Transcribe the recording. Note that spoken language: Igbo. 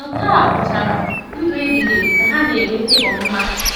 “Nke a a pụtara ndụ ebighị ebi, ka ha na-enweta ọmụma...”